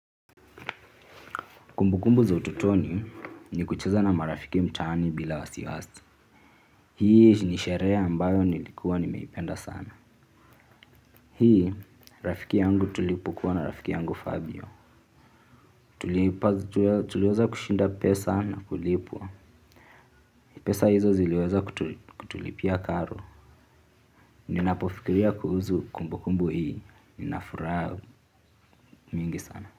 Kumbukumbu za utotoni ni kucheza na marafiki mtaani bila wasiwasi. Hii ni sherehe ambayo nilikuwa nimeipenda sana. Hii, rafiki yangu, tulipokuwa na rafiki yangu phabio tuliweza kushinda pesa na kulipwa. Pesa hizo ziliweza kutulipia karo. Ninapofikiria kuhusu kumbukumbu hii, nina furaha mingi sana.